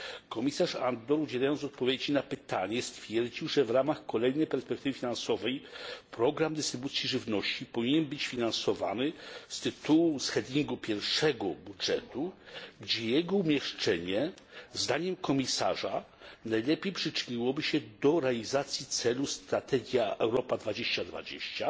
Komisarz Andor, udzielając odpowiedzi na to pytanie, stwierdził, że w ramach kolejnej perspektywy finansowej program dystrybucji żywności powinien być finansowany z tytułu heading pierwszego budżetu, gdzie jego umieszczenie zdaniem komisarza najlepiej przyczyniłoby się do realizacji celu strategii Europa 2020,